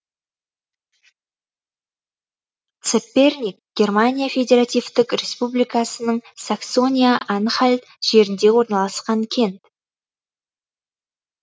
цепперник германия федеративтік республикасының саксония анхальт жерінде орналасқан кент